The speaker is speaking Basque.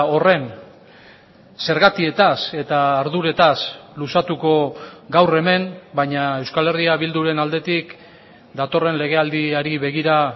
horren zergatietaz eta arduretaz luzatuko gaur hemen baina euskal herria bilduren aldetik datorren legealdiari begira